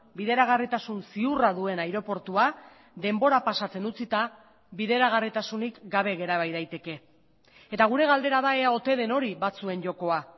bideragarritasun ziurra duen aireportua denbora pasatzen utzita bideragarritasunik gabe gera bai daiteke eta gure galdera da ea ote den hori batzuen jokoa